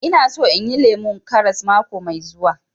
Ina so inyi lemun karas mako mai zuwa